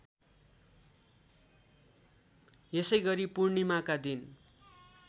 यसैगरी पूर्णिमाका दिन